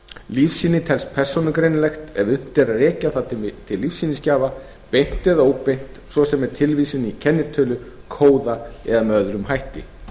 lífsýni telst persónugreinanlegt ef unnt er að rekja það til lífsýnisgjafa beint eða óbeint svo sem með tilvísun í kennitölu kóða eða með öðrum hætti